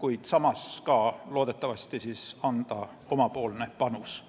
kuid samas on see loodetavasti ka võimalus anda oma panus.